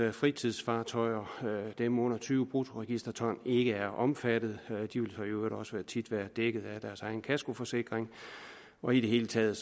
at fritidsfartøjer dem under tyve bruttoregisterton ikke er omfattet de vil så i øvrigt også tit være dækket af deres egen kaskoforsikring og i det hele taget